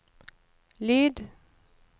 lyd